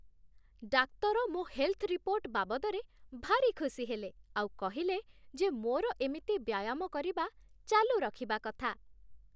ଡାକ୍ତର ମୋ' health report ବାବଦରେ ଭାରି ଖୁସି ହେଲେ ଆଉ କହିଲେ ଯେ ମୋର ଏମିତି ବ୍ୟାୟାମ କରିବା ଚାଲୁ ରଖିବା କଥା ।